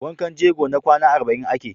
Wankan jego na kwana arba'in ake.